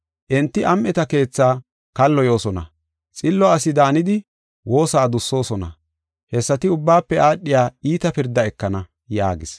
Enti am7eta keethaa kalloyoosona, xillo asi daanidi woosa adussosona. Hessati ubbaafe aadhiya iita pirda ekana” yaagis.